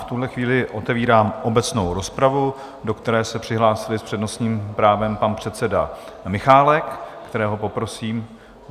V tuhle chvíli otevírám obecnou rozpravu, do které se přihlásili s přednostním právem pan předseda Michálek, kterého poprosím.